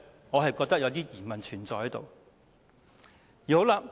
我覺得當中存在一點疑問。